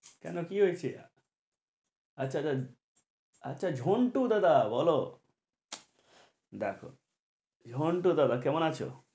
কেনো কি হয়েছে? আচ্ছা ঝন্টু দাদা বলো দেখো ঝন্টু দাদা কেমন আছো?